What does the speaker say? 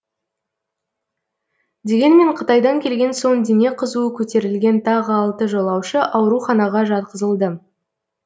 дегенмен қытайдан келген соң дене қызуы көтерілген тағы алты жолаушы ауруханаға жатқызылды